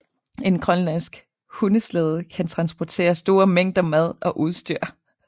En grønlandsk hundeslæde kan transportere store mængder mad og udstyr